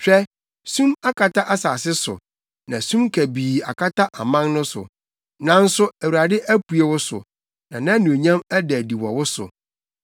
Hwɛ, sum akata asase so na sum kabii akata aman no so, nanso Awurade apue wo so na nʼanuonyam ada adi wɔ wo so.